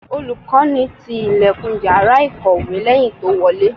Olùkọ́ni ti ìlẹ̀kùn Ìyàrá ìkọ̀wé lẹ́yìn tó wọlé.